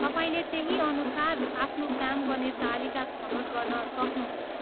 तपाईँले त्यही अनुसार आफ्नो काम गर्ने तालिका छनोट गर्न सक्नुहुन्छ।